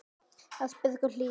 Ásbjörn og Hlíf.